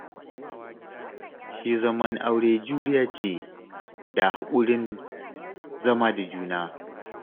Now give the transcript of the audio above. Shi zaman aure juriya ce da haƙurin zama da juna